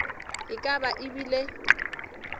e ka ba e bile